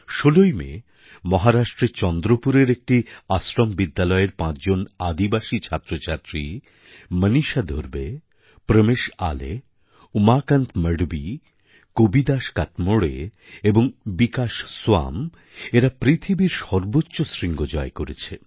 ১৬ই মে মহারাষ্ট্রের চন্দ্রপুরের একটি আশ্রমবিদ্যালয়ের পাঁচজন আদিবাসী ছাত্রছাত্রী মনীষা ধুরবে প্রমেশ আলে উমাকান্ত মঢবি কবিদাস কাতমোড়ে এবং বিকাশ সোয়াম এরা পৃথিবীর সর্বোচ্চ শৃঙ্গ জয় করেছে